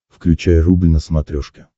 включай рубль на смотрешке